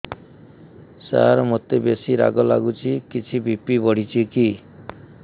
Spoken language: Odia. ସାର ମୋତେ ବେସି ରାଗ ଲାଗୁଚି କିଛି ବି.ପି ବଢ଼ିଚି କି